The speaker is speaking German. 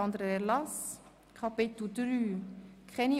Sehen Sie das auch so?